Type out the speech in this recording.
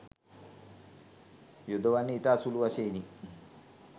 යොදවන්නේ ඉතා සුළු වශයෙනි